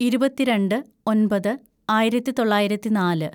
ഇരുപത്തിരണ്ട് ഒന്‍പത് ആയിരത്തിതൊള്ളായിരത്തി നാല്‌